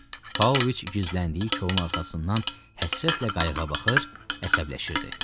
Paoviç gizləndiyi kolun arxasından həsrətlə qayığa baxır, əsəbləşirdi.